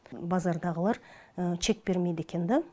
базардағылар чек бермейді екен да